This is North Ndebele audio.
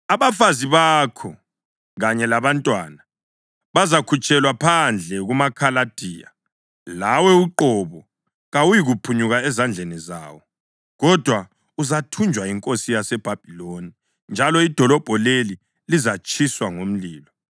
Abafazi bakho kanye labantwana bazakhutshelwa phandle kumaKhaladiya. Lawe uqobo kawuyikuphunyuka ezandleni zawo, kodwa uzathunjwa yinkosi yaseBhabhiloni; njalo idolobho leli lizatshiswa ngomlilo.”